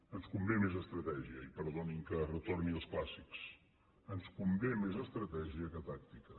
ens convé més estratègia i perdonin que retorni als clàssics ens convé més estratègia que tàctica